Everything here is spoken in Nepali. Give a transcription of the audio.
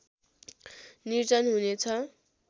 निर्जन हुने छ